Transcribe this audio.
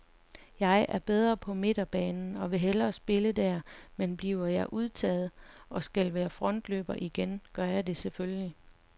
Jeg er bedre på midtbanen og vil hellere spille der, men bliver jeg udtaget, og skal være frontløber igen, gør jeg det selvfølgelig.